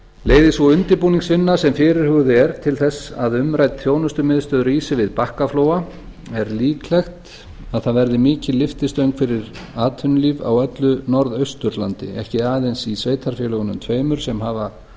leiði sú undirbúningsvinna sem fyrirhuguð er til þess að umrædd þjónustumiðstöð rísi við bakkaflóa er líklegt að það verði mikil lyftistöng fyrir atvinnulíf á öllu norðausturlandi ekki aðeins í sveitarfélögunum tveimur sem hafa